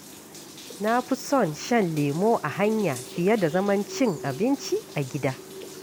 Na fi son shan lemo a hanya fiye da zaman cin abinci a gida.